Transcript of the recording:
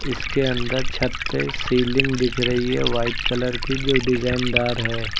इसके अंदर छत पे सीलिंग दिख रही है वाइट कलर की जो डिजाइन दार है।